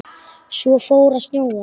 Svo fór að snjóa.